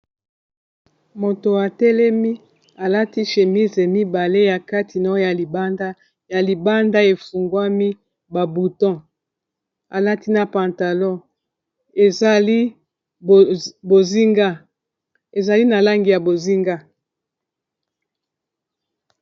Moto atelemi alati chemise mibale ya kati na oya libanda ya libanda efungwami ba buton alati na pantalon ezali bozinga ezali na langi ya bozinga.